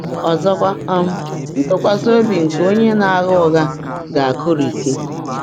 Ọzọkwa, um ntụkwasị obi nke onye na-agha ụgha ga-akụrisị.